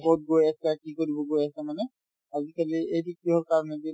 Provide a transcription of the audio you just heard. ক'ত গৈ আছা কি কৰিব গৈ আছা মানে আজিকালি এইটো কিহৰ কাৰণে যে